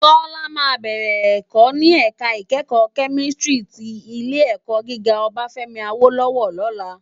Tola má bèrè èkò ni èká ikèékò kèmìstrí ti Ilé èkò gigá Obafemi Awolowo lòlá